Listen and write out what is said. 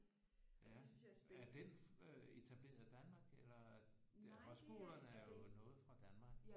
Ja er den øh etableret i Danmark eller højskolerne er jo noget fra Danmark